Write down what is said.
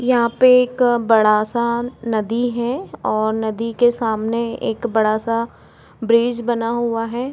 यहाँ पे एक बड़ा सा नदी है और नदी के सामने एक बड़ा सा ब्रिज बना हुआ है।